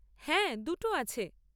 হ্যাঁ দুটো আছে।